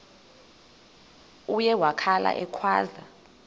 uye wakhala ekhwaza